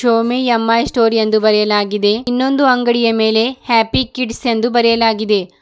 Xiaomi M I store ಎಂದು ಬರೆಯಲಾಗಿದೆ ಇನ್ನೊಂದು ಅಂಗಡಿಯ ಮೇಲೆ ಹ್ಯಾಪಿ ಕಿಡ್ಸ್ ಎಂದು ಬರೆಯಲಾಗಿದೆ.